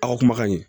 Aw ka kumakan ɲɛ